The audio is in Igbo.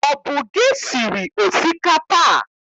Ọ bụ gị siri osikapa a?